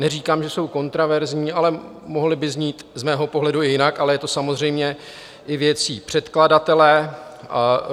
Neříkám, že jsou kontroverzní, ale mohly by znít z mého pohledu i jinak, ale je to samozřejmě i věcí předkladatele.